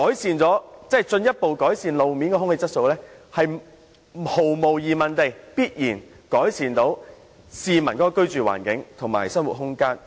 換言之，進一步改善路邊空氣質素，必然有助改善市民的居住環境和生活。